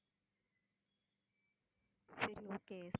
சரி okay